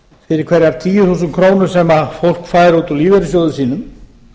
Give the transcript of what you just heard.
fyrir hverjar tíu þúsund krónur sem fólk fær út úr lífeyrissjóði sínum